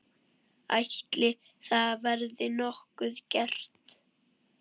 Ætli það verði nokkuð gert?